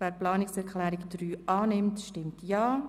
Wer Planungserklärung 7 annehmen will, stimmt Ja.